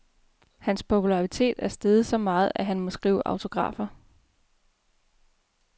Hans popularitet er steget så meget, at han må skrive autografer.